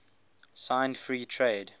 signed free trade